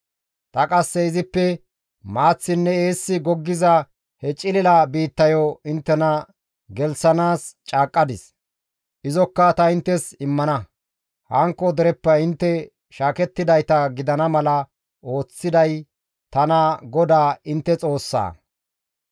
Ta qasse izippe maaththinne eessi goggiza he cilila biittayo inttena gelththanaas caaqqadis; izokka ta inttes immana; hankko dereppe intte taas shaakettidayta gidana mala ooththiday tana GODAA intte Xoossaa.